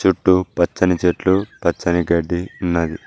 చుట్టూ పచ్చని చెట్లు పచ్చని గడ్డి ఉన్నది.